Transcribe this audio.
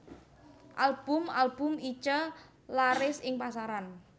Album album Itje laris ing pasaran